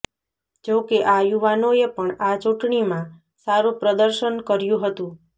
જો કે આ યુવાનોએ પણ આ ચુંટણીમાં સારું પ્રદર્શન કર્યું હતું